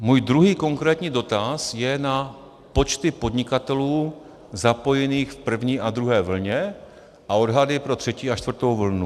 Můj druhý konkrétní dotaz je na počty podnikatelů zapojených v první a druhé vlně a odhady pro třetí a čtvrtou vlnu.